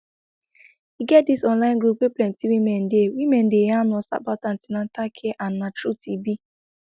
e get this online group wey plenty woman dey woman dey yarn us about an ten atal care and na truth e be